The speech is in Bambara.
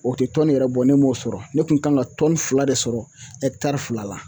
O te tɔni yɛrɛ bɔ ne m'o sɔrɔ ne kun kan ka tɔni fila de sɔrɔ ɛkitari fila la